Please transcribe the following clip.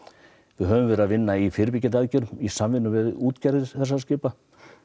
við höfum verið að vinna í fyrirbyggjandi aðgerðum í samvinnu við útgerðir skipa